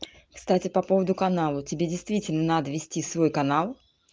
кстати по поводу канала тебе действительно надо вести свой канал